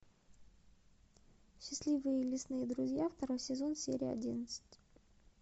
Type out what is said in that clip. счастливые лесные друзья второй сезон серия одиннадцать